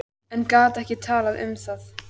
En gat ekki talað um það.